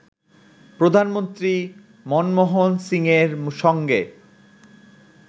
প্রধানমন্ত্রী মনমোহন সিংয়ের সঙ্গে